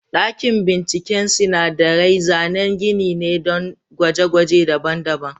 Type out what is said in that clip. Dakin bincike sinadarai zanen gini ne don gwaje-gwaje daban-daban.